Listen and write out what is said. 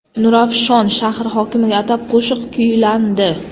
Nurafshon shahri hokimiga atab qo‘shiq kuylandi .